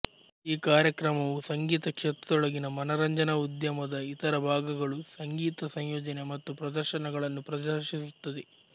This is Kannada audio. ಈ ಕಾರ್ಯಕ್ರಮವು ಸಂಗೀತ ಕ್ಷೇತ್ರದೊಳಗಿನ ಮನರಂಜನಾ ಉದ್ಯಮದ ಇತರ ಭಾಗಗಳು ಸಂಗೀತ ಸಂಯೋಜನೆ ಮತ್ತು ಪ್ರದರ್ಶನಗಳನ್ನು ಪ್ರದರ್ಶಿಸುತ್ತದೆ